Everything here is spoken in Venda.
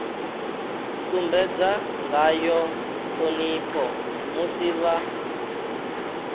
sumbedza ngayo ṱhonipho musi vha